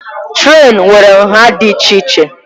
Trén nwere nha dị iche iche.